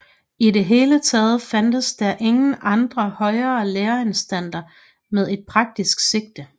I det hele taget fandtes der ingen andre højere læreanstalter med et praktisk sigte